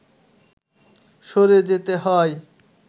সরে যেতে হয়